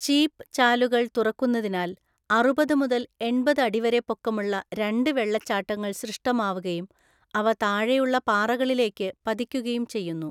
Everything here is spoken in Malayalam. ചീപ്പ് ചാലുകള്‍ തുറക്കുന്നതിനാല്‍ അറുപത് മുതൽ എണ്‍പത് അടി വരെ പൊക്കമുള്ള രണ്ട് വെള്ളച്ചാട്ടങ്ങള്‍ സൃഷ്ടമാവുകയും അവ താഴെയുള്ള പാറകളിലേക്ക് പതിക്കുകയും ചെയ്യുന്നു.